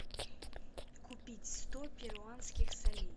купить сто перуанских солей